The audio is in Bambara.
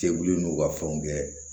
Cɛkulu n'u ka fɛnw kɛ